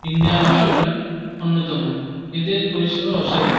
Indian Oil হল অন্যতম এদের পরিষেবা অসাধারণ।